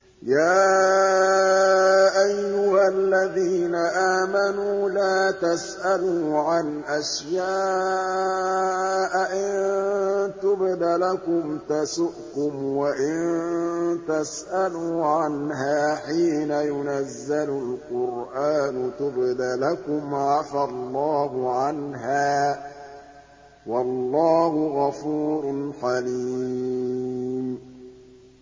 يَا أَيُّهَا الَّذِينَ آمَنُوا لَا تَسْأَلُوا عَنْ أَشْيَاءَ إِن تُبْدَ لَكُمْ تَسُؤْكُمْ وَإِن تَسْأَلُوا عَنْهَا حِينَ يُنَزَّلُ الْقُرْآنُ تُبْدَ لَكُمْ عَفَا اللَّهُ عَنْهَا ۗ وَاللَّهُ غَفُورٌ حَلِيمٌ